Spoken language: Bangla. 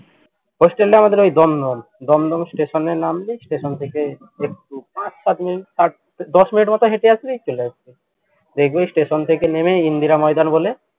hostel টা আমাদের ওই দমদম দমদম station এ নামবি station থেকে একটু পাঁচ সাত minute দশ minute এর মতো হেটে আসলেই চলে আসবি দেখবি station থেকে নেমে ইন্দিরা ময়দান বলে